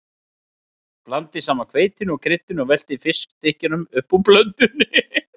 Blandið saman hveitinu og kryddinu og veltið fiskstykkjunum upp úr blöndunni.